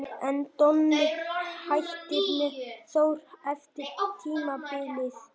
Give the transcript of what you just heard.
En Donni hættir með Þór eftir tímabilið.